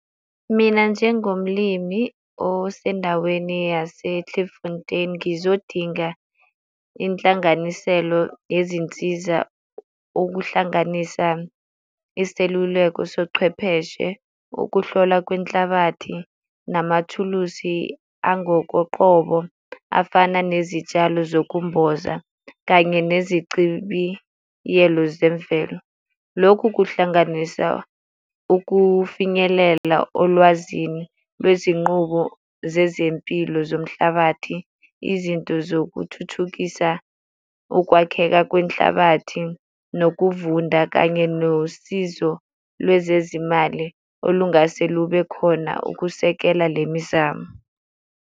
Mina njengomlimi osendaweni yase-Klifontein ngizodinga inhlanganiselo yezinsiza ukuhlanganisa iseluleko sochwepheshe, ukuhlola kwenhlabathi, namathuluzi angokoqobo afana nezitshalo zokumboza kanye nezicibiyelo zemvelo. Lokhu kuhlanganisa ukufinyelela olwazini lwezinqubo zezempilo zomhlabathi, izinto zokuthuthukisa, ukwakheka kwenhlabathi, nokuvunda, kanye nosizo lwezezimali olungase lube khona ukusekela le mizamo.